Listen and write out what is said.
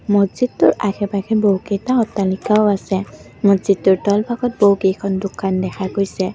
মছজিদটোৰ আশে পাশে বহুকেইটা অট্টালিকাও আছে মছজিদটোৰ তল ভাগত বহুকেইখন দোকান দেখা গৈছে।